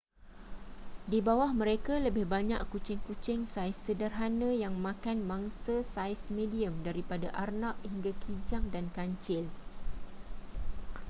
di bawah mereka lebih banyak kucing-kucing saiz sederhana yang makan mangsa saiz medium daripada arnab hingga kijang dan kancil